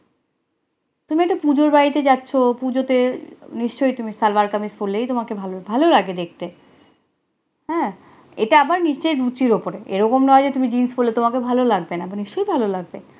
তুমি একটা পুজোর বাড়িতে যাচ্ছ, পূজো তে নিশ্চয়ই তুমি সালোয়ার-কামিজ হলেই তোমাকে ভালো ভালো লাগে দেখতে, হেঁ, এটা আবার নিচে রুচির ওপর এরকম নয় যে তুমি jeans পরলে তোমাকে ভালো লাগবে না নিশ্চই ভালো লাগবে